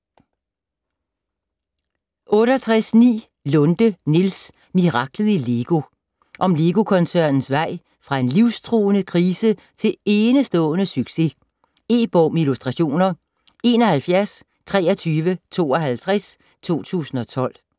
68.9 Lunde, Niels: Miraklet i LEGO Om Lego-koncernens vej fra en livstruende krise til enestående succes. E-bog med illustrationer 712352 2012.